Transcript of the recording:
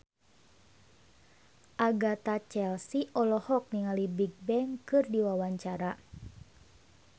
Agatha Chelsea olohok ningali Bigbang keur diwawancara